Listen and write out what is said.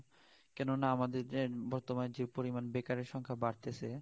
কেননা আমাদের বর্তমান যে পরিমান বেকারের পরিমান বাড়তেছে